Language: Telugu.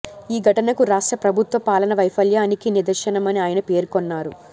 ఈ ఘటనకు రాష్ట్ర ప్రభుత్వ పాలనా వైఫల్యానికి నిదర్శనమని ఆయన పేర్కొన్నారు